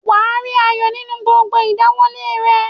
Wàá rí ayọ̀ nínú gbogbo ìdáwólé rẹ